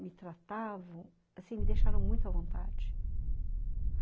me tratavam, assim, me deixaram muito à vontade.